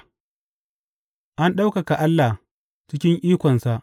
An ɗaukaka Allah cikin ikonsa.